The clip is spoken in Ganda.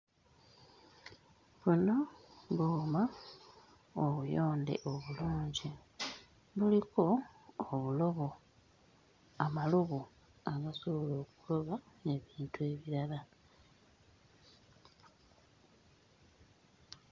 Buno buuma obuyonde obulungi, buliko obulobo, amalobo agasobola okukola ebintu ebirala.